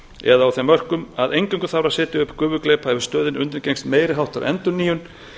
eða á þeim mörkum að eingöngu þarf að setja upp gufugleypa ef stöðin undirgengst meiri háttar endurnýjun